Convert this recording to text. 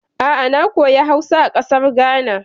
A'a, na koya Hausa a ƙasar Ghana.